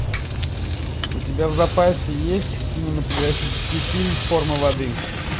у тебя в запасе есть кинематографический фильм форма воды